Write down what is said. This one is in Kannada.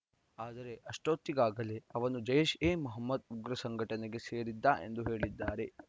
ಆದರೆ ಅಷ್ಟೊತ್ತಿಗಾಗಲೇ ಅವನು ಜೈಷ್‌ಎಮೊಹಮ್ಮದ್‌ ಉಗ್ರ ಸಂಘಟನೆಗೆ ಸೇರಿದ್ದ ಎಂದು ಹೇಳಿದ್ದಾರೆ